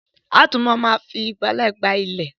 A ó túbọ̀ ma fi ìgbálẹ̀ gbá ilẹ̀